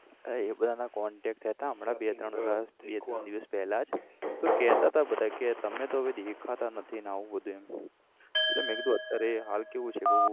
હા એ બધાના contact થયા હતા હમણાં બે ત્રણ બે ત્રણ દિવસ પેલા જ તોકહેતા હતા કે તમે તો હવે દેખાતા નથી અને આવું બધું એમ એટલે મેં કીધું અત્યારે હાલ કેવું છે કઉ